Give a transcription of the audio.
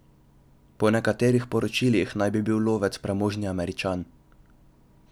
Po nekaterih poročilih naj bi bil lovec premožni Američan.